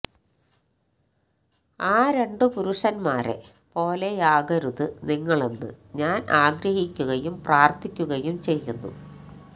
ആ രണ്ട് പുരുഷന്മാരെപോലെയാകരുത് നിങ്ങളെന്ന് ഞാന് ആഗ്രഹിക്കുകയും പ്രാര്ഥിക്കുകയും ചെയ്യുന്നു